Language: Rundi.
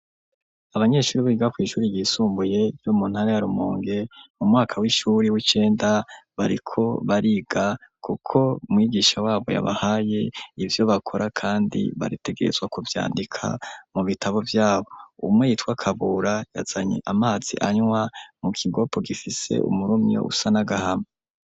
Abanyeshuri biga kw' ishuri ryisumbuye, ryo muntara yarumonge ,mu mwaka w'ishuri w'icenda, bariko bariga kuko mwigisha wabo yabahaye ivyo bakora ,kandi bategezwa kuvyandika mu bitabo vyabo ,umwe yitwa kabura, yazanye amazi anywa mu kigopo gifise umurumyi usa nagahama.